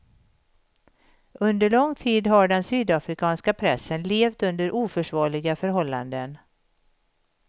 Under lång tid har den sydafrikanska pressen levt under oförsvarliga förhållanden.